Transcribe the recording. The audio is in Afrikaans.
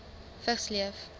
vigs leef